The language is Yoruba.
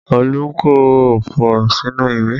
Olu kọ ọfọ̀ sínú ìwé